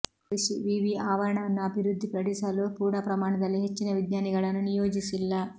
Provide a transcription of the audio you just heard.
ಕೃಷಿ ವಿವಿ ಆವರಣವನ್ನು ಅಬಿವೃದ್ಧಿಪಡಿಸಲು ಪೂರ್ಣ ಪ್ರಮಾಣದಲ್ಲಿ ಹೆಚ್ಚಿನ ವಿಜ್ಞಾನಿಗಳನ್ನು ನಿಯೋಜಿಸಿಲ್ಲ